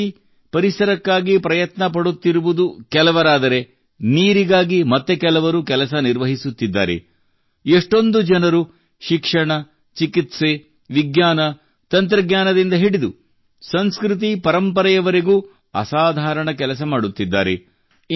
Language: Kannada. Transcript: ಇದೇ ರೀತಿ ಪರಿಸರಕ್ಕಾಗಿ ಪ್ರಯತ್ನ ಪಡುತ್ತಿರುವುದು ಕೆಲವರಾದರೆ ನೀರಿಗಾಗಿ ಮತ್ತೆ ಕೆಲವರು ಕೆಲಸ ನಿರ್ವಹಿಸುತ್ತಿದ್ದಾರೆ ಎಷ್ಟೊಂದು ಜನರು ಶಿಕ್ಷಣ ಚಿಕಿತ್ಸೆ ಮತ್ತು ವಿಜ್ಞಾನ ತಂತ್ರಜ್ಞಾನದಿಂದ ಹಿಡಿದು ಸಂಸ್ಕೃತಿಪರಂಪರೆಯವರೆಗೂ ಅಸಾಧಾರಣ ಕೆಲಸ ಮಾಡುತ್ತಿದ್ದಾರೆ